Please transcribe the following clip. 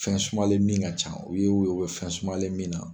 Fɛn sumalen min ka ca, u ye o ye u bɛ fɛn sumalen min na.